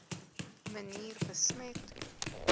manier besmet